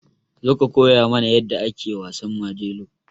Zo ka koya mana yadda ake wasan Majelo.